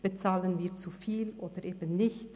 Bezahlen wir zu viel oder eben nicht?